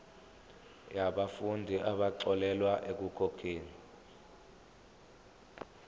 yabafundi abaxolelwa ekukhokheni